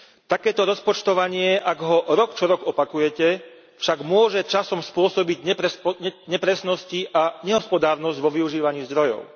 Takéto rozpočtovanie, ak ho rok čo rok opakujete, však môže časom spôsobiť nepresnosti a nehospodárnosť vo využívaní zdrojov.